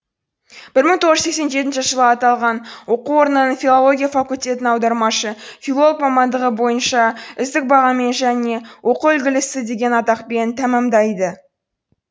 бір мың тоғыз жүз сексен жетінші жылы аталған оқу орнының филология факультетін аудармашы филолог мамандығы бойынша үздік бағамен және оқу үлгілісі деген атақпен тәмәмдайды